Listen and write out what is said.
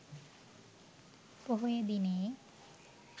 පොහොය දිනයේ